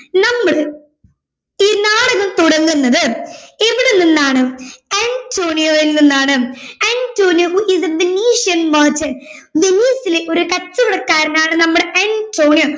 നമ്മൾ ഈ നാടകം തുടങ്ങുന്നത് എവിടെ നിന്നാണ് അന്റോണിയോയിൽ നിന്നാണ് Antonio who is a venetian merchant വെനീസിലെ ഒരു കച്ചവടക്കാരൻ ആണ് അന്റോണിയോ